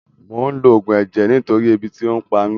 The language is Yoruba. Mò ń lo Ògùn ẹ̀jẹ̀ nítorí ebi tí ò pa mí